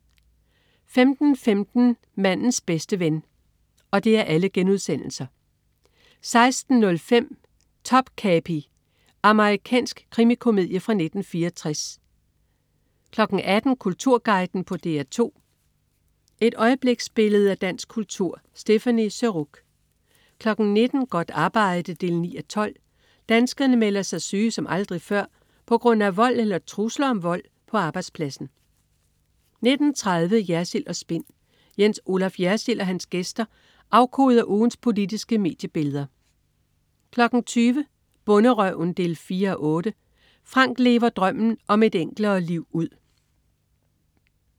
15.15 Mandens bedste ven* 16.05 Topkapi. Amerikansk krimikomedie fra 1964 18.00 Kulturguiden på DR2. Et øjebliksbillede af dansk kultur. Stéphanie Surrugue 19.00 Godt arbejde 9:12. Danskerne melder sig syge som aldrig før på grund af vold eller trusler om vold på arbejdspladsen 19.30 Jersild & Spin. Jens Olaf Jersild og hans gæster afkoder ugens politiske mediebilleder 20.00 Bonderøven 4:8. Frank lever drømmen om et enklere liv ud